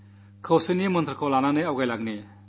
ഐക്യമന്ത്രവുമായി മുന്നേറാം